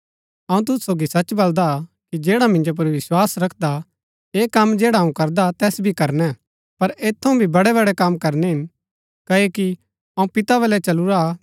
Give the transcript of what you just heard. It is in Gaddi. अऊँ तूसु सोगी सच बलदा कि जैडा मिन्जो पुर विस्वास रखदा ऐह कम जैडा अऊँ करदा तैस भी करणै पर ऐत थऊँ भी बड़ै बड़ै कम करणै हिन क्ओकि अऊँ पिता बलै चलूरा हा